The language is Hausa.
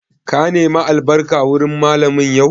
Ka nema albarka wurin Mallamin yau?